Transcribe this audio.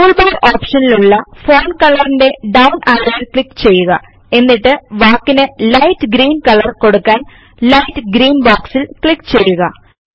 tool bar ഒപ്ഷനിലുള്ള font Colorന്റെ down arrow click ചെയ്യുക എന്നിട്ട് വാക്കിന് ലൈറ്റ് ഗ്രീൻ കളർ കൊടുക്കാൻ ലൈറ്റ് ഗ്രീൻ ബോക്സിൽ ക്ലിക്ക് ചെയ്യുക